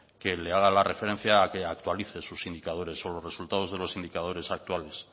que le haga la referencia a que actualice sus indicadores o los resultados de los indicadores actuales